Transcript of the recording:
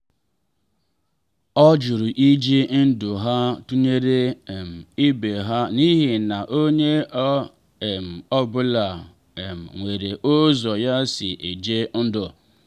ọ jụrụ iji ndụ ha tụnyere um ibe ha n’ihi na onye ọ um bụla um nwere ụzọ ya si eje ndụ.